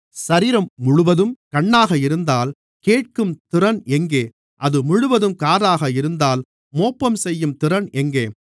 சரீரம் முழுவதும் கண்ணாக இருந்தால் கேட்கும் திறன் எங்கே அது முழுவதும் காதாக இருந்தால் மோப்பம் செய்யும் திறன் எங்கே